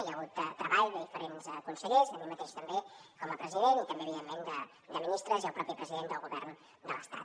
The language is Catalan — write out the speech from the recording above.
hi ha hagut treball de diferents consellers de mi mateix també com a president i també evidentment de ministres i el propi president del govern de l’estat